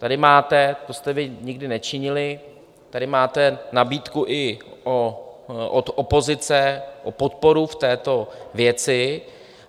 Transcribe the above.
Tady máte, to jste vy nikdy nečinili, tady máte nabídku i od opozice o podporu v této věci.